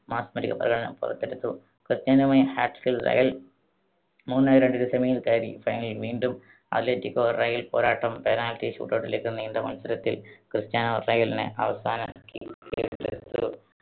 മാസ്മരിക പ്രകടനം പുറത്തെടുത്തു. ക്രിസ്ത്യാനോയുടെ hat trick ൽ റയൽ മൂന്ന് രണ്ടിന് semi യിൽ കയറി. final ൽ വീണ്ടും അത്ലറ്റിക്കോ റയൽ പോരാട്ടം penalty shootout ലേക്ക് നീണ്ട മത്സരത്തിൽ ക്രിസ്ത്യാനോ റയലിനെ അവസാന kick